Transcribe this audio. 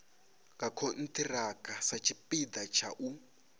nga khonthiraka satshipida tsha u